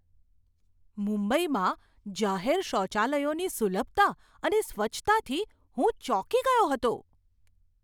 મુંબઈમાં જાહેર શૌચાલયોની સુલભતા અને સ્વચ્છતાથી હું ચોંકી ગયો હતો.